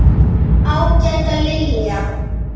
Ágæta Lilja.